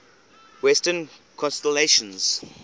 western constellations